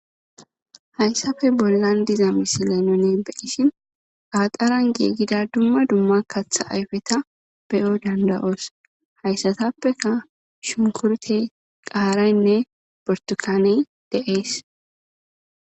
Hayssafe bollan diza misilay none beyishin qaaxaran geegida dumma dumma katha ayfeta beyo dandawoos hayssatappeka shumkurte qaaraynne portukaney de,ees.